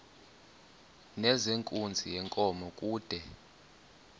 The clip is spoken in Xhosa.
nezenkunzi yenkomo kude